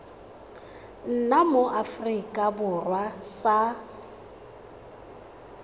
nna mo aforika borwa sa